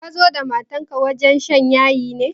Ka zo da matar wajen shan yayi ne?